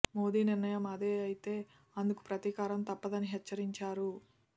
మోదీ నిర్ణయం అదే అయితే అందుకు ప్రతీకారం తప్పదని హెచ్చరించారు